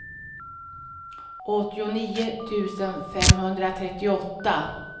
åttionio tusen femhundratrettioåtta